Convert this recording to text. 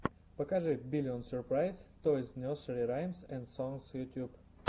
покажи биллион сюрпрайз тойс несери раймс энд сонгс ютьюб